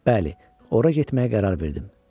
Bəli, ora getməyə qərar verdim.